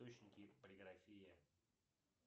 источники полиграфия